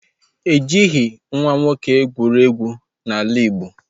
E jighị nwa nwoke egwuregwu n'ala Igbo